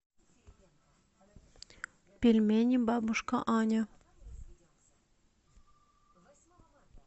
пельмени бабушка аня